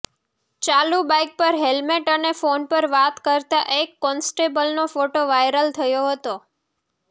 ચાલુ બાઇક પર હેલમેટ અને ફોન પર વાત કરતા એક કોન્સ્ટેબલનો ફોટો વાઇરલ થયો હતો